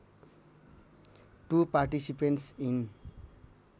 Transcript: to participants in